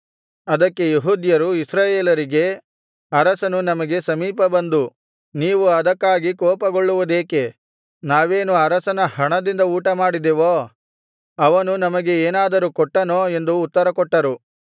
ಅದಕ್ಕೆ ಯೆಹೂದ್ಯರು ಇಸ್ರಾಯೇಲರಿಗೆ ಅರಸನು ನಮಗೆ ಸಮೀಪದ ಬಂಧು ನೀವು ಅದಕ್ಕಾಗಿ ಕೋಪಗೊಳ್ಳುವುದೇಕೆ ನಾವೇನು ಅರಸನ ಹಣದಿಂದ ಊಟಮಾಡಿದೆವೋ ಅವನು ನಮಗೆ ಏನಾದರೂ ಕೊಟ್ಟನೋ ಎಂದು ಉತ್ತರ ಕೊಟ್ಟರು